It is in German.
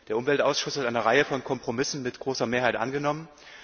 Der Umweltausschuss hat eine Reihe von Kompromissen mit großer Mehrheit angenommen.